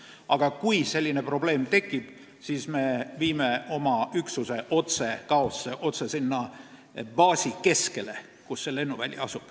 Aga kui selline probleem tekib, siis me viime oma üksuse otse Gaosse, otse sinna baasi keskele, kus see lennuväli asub.